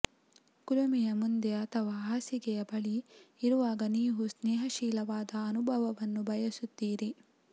ಕುಲುಮೆಯ ಮುಂದೆ ಅಥವಾ ಹಾಸಿಗೆಯ ಬಳಿ ಇರುವಾಗ ನೀವು ಸ್ನೇಹಶೀಲವಾದ ಅನುಭವವನ್ನು ಬಯಸುತ್ತೀರಿ